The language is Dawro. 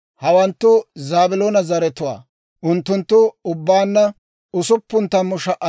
Hawanttu Zaabiloona zaratuwaa; unttunttu ubbaanna 60,500.